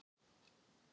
Af Júlíu og Lenu.